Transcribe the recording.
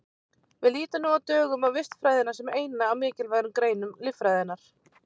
Við lítum nú á dögum á vistfræðina sem eina af mikilvægari greinum líffræðinnar.